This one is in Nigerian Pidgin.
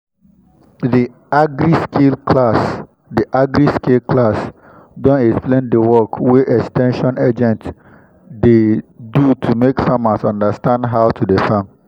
the agri-skill class the agri-skill class don explain the work wey ex ten sion agent dey do to make farmers understand how to dey farm